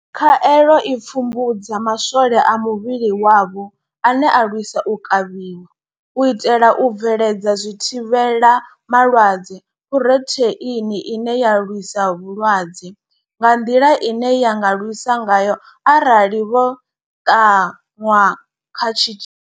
Khaelo i pfumbudza ma swole a muvhili wavho ane a lwisa u kavhiwa, u itela u bveledza zwithivhela malwadze phurotheini ine ya lwisa vhulwadze nga nḓila ine ya nga lwisa ngayo arali vho ṱanwa kha tshi.